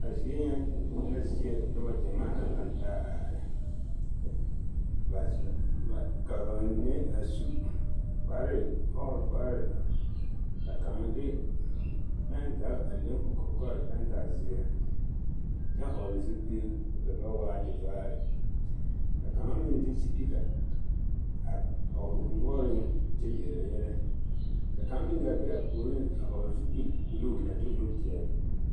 A zie nyɛ e la zie noba gyɛmaa naŋ lantaa a are ka bamine a su kpare ɔɔre kpare ka kaŋ de pɛŋzage a le o kɔkɔre pɛŋzage zeɛ kyɛ hɔɔle zupili k'o da boɔraa waa tevaare ka kaŋa meŋ de sipika a tɔgele o noɔreŋ kyɛ yele yɛlɛ ka kaŋ meŋ gaa be a puoriŋ a hɔɔle zupili buluu a de o nu ti a zupili.